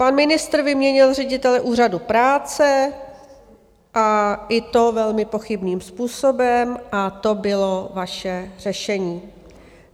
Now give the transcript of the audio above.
Pan ministr vyměnil ředitele Úřadu práce, a i to velmi pochybným způsobem, a to bylo vaše řešení.